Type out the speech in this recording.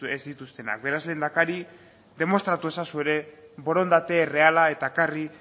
ez dituztenak beraz lehendakari demostratu ezazu ere borondate erreala eta ekarri